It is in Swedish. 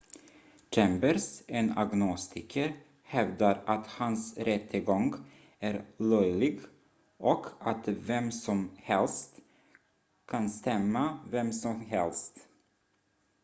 "chambers en agnostiker hävdar att hans rättegång är "löjlig" och att "vem som helst kan stämma vem som helst"".